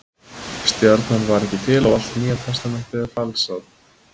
Stjarnan var ekki til og allt Nýja testamentið er falsað.